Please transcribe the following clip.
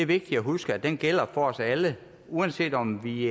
vigtigt at huske gælder for os alle uanset om vi